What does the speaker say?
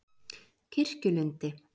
Kirkjulundi